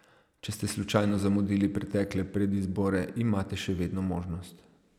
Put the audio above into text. Če ste slučajno zamudili pretekle predizbore imate še vedno možnost.